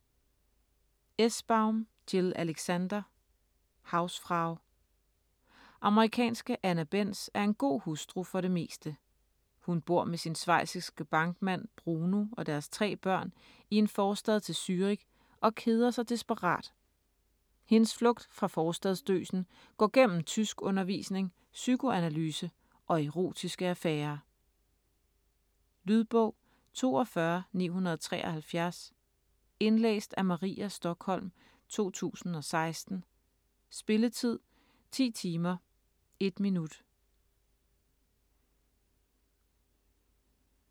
Essbaum, Jill Alexander: Hausfrau Amerikanske Anna Benz er en god hustru, for det meste. Hun bor med sin schweiziske bankmand Bruno og deres tre børn i en forstad til Zürich og keder sig desperat. Hendes flugt fra forstadsdøsen går gennem tyskundervisning, psykoanalyse og erotiske affærer. Lydbog 42973 Indlæst af Maria Stokholm, 2016. Spilletid: 10 timer, 1 minut.